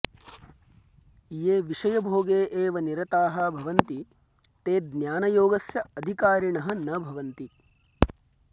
ये विषयभोगे एव निरताः भवन्ति ते ज्ञानयोगस्य अधिकारिणः न भवन्ति